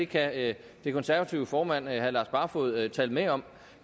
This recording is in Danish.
kan den konservative formand herre lars barfoed tale med om